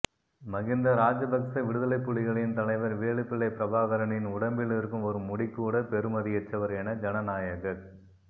மகிந்த ராஜபக்ச விடுதலைப் புலிகளின் தலைவர் வேலுப்பிள்ளை பிரபாகரனின் உடம்பில் இருக்கும் ஒரு முடிக்குகூட பெறுமதியற்றவர் என ஜனநாயகக்